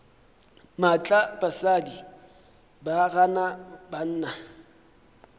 maatla basadi ba gana banna